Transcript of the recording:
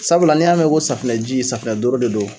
Sabula n'i y'a mɛ ko safinɛ ji safinɛ doro de don